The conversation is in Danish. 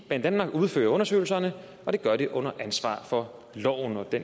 banedanmark udfører undersøgelserne og det gør de under ansvar for loven og det